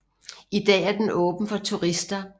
I dag er den åben for turister